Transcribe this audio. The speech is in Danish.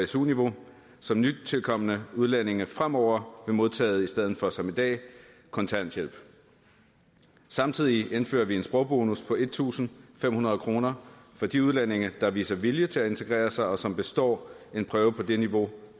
su niveau som nytilkomne udlændinge fremover vil modtage i stedet for som i dag kontanthjælp samtidig indfører vi en sprogbonus på en tusind fem hundrede kroner for de udlændinge der viser vilje til at integrere sig og som består en prøve på det niveau